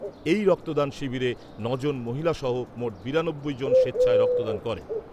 এই রক্তদান শিবিরে ন' জন মহিলা সহ মোট বিরানব্বই জন স্বেচ্ছায় রক্তদান করেন।